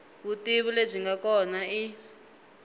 vutivi lebyi nga kona i